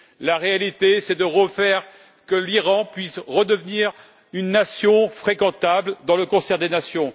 La réalité, c'est de faire que l'Iran puisse redevenir une nation fréquentable dans le concert des nations.